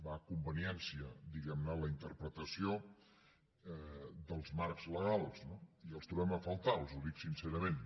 va a conveniència diguem ne la interpretació dels marcs legals no i els trobem a faltar els ho dic sincerament